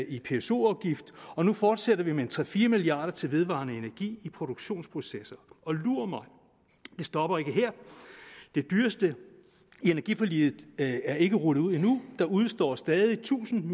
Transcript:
i pso afgift og nu fortsætter vi med tre fire milliard kroner til vedvarende energi i produktionsprocesser og lur mig det stopper ikke her det dyreste i energiforliget er ikke rullet ud endnu der udestår stadig tusind